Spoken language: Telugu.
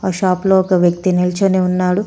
ఈ షాప్ లో ఒక వ్యక్తి నిల్చొని ఉన్నాడు.